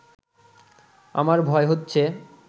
আমার ভয় হচ্ছে